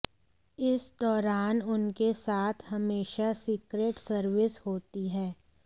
इस दौरान उनके साथ हमेशा सीक्रेट सर्विस होती है